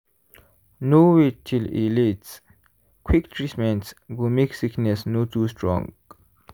no wait till e late-quick treatment go make sickness no too strong.